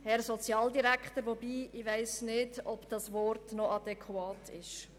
Herr Sozialdirektor – wobei ich nicht weiss, ob dieses Wort noch adäquat ist.